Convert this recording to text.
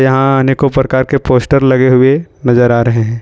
यहां अनेकों प्रकार के पोस्टर लगे हुए नजर आ रहे है।